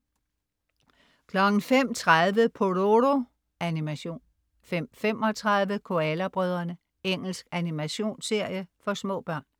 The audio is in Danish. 05.30 Pororo. Animation 05.35 Koala brødrene. Engelsk animationsserie for små børn